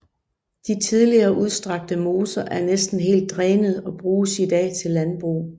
De tidligere udstrakte moser er næsten helt drænet og bruges i dag til landbrug